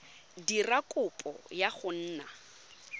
dira kopo ya go nna